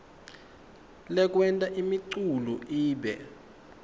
lekwenta imiculu ibe